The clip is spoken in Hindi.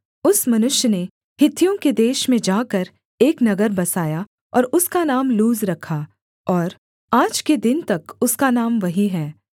उस मनुष्य ने हित्तियों के देश में जाकर एक नगर बसाया और उसका नाम लूज रखा और आज के दिन तक उसका नाम वही है